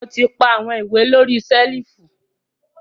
Mo ti pa awọn iwe lori selifu.